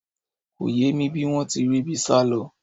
Kò yé mi bí wọ́n ti ríbi sálọ